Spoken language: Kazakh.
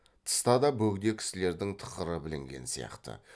тыста да бөгде кісілердің тықыры білінген сияқты